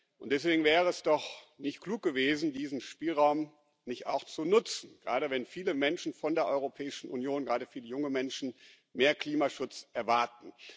Und deswegen wäre es doch nicht klug gewesen, diesen Spielraum nicht auch zu nutzen, gerade wenn viele Menschen von der Europäischen Union, gerade viele junge Menschen, mehr Klimaschutz erwarten.